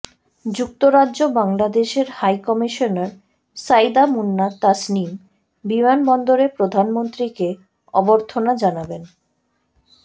যুক্তরাজ্যে বাংলাদেশের high commissioner Saida Muna Tasnim বিমানবন্দরে প্রধানমন্ত্রীকে অভ্যর্থনা জানাবেন